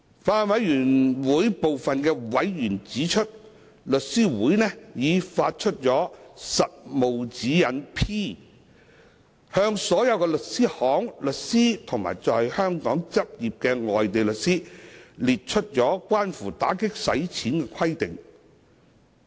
法案委員會部分委員指出，律師會已發出《實務指示 P》，向所有律師行、律師及在香港執業的外地律師列出關乎打擊洗錢的規定。